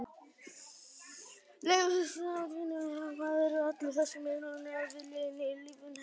Leigumiðlun, hjúskaparmiðlun, atvinnumiðlun: hvað voru allar þessar miðlanir að vilja inn í líf hennar?